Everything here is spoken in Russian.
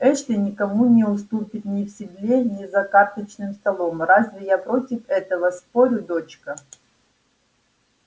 эшли никому не уступит ни в седле ни за карточным столом разве я против этого спорю дочка